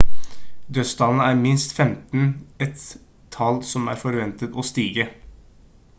dødstallene er minst 15 et tall som er forventet å stige